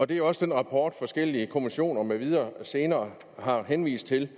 det er også den rapport forskellige kommissioner med videre senere har henvist til